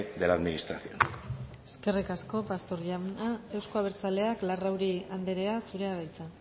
de la administración eskerrik asko pastor jauna euzko abertzaleak larrauri andrea zurea da hitza